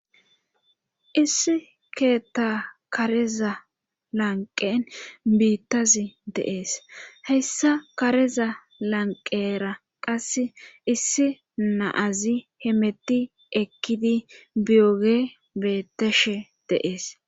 issi keettaa kareza lanqqen biittazi de7es;hayssa kareza lanqqera qassi issi na7azi hemetti ekkidi biyooge beetteshe de7ees.